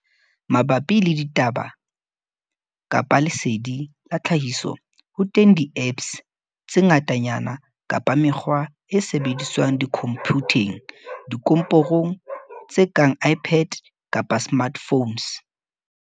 Mabapi le ditaba kapa lesedi la tlhahiso, ho teng di-apps tse ngatanyana kapa mekgwa e sebediswang dikhomphutheng, dikomporong, tse kang iPads kapa smartphones.